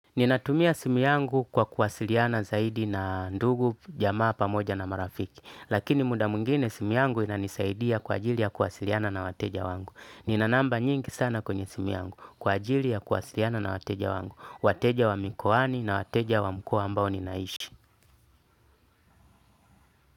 Ninatumia simu yangu kwa kuwasiliana zaidi na ndugu jamaa pamoja na marafiki, lakini muda mwingine simu yangu inanisaidia kwa ajili ya kuwasiliana na wateja wangu. Nina namba nyingi sana kwenye simu yangu, kwa ajili ya kuwasiliana na wateja wangu, wateja wa mikoani na wateja wa mkoa ambao ninaishi.